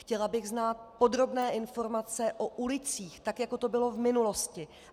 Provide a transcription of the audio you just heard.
Chtěla bych znát podrobné informace o ulicích, tak jako to bylo v minulosti.